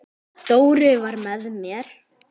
Dóri var með mér.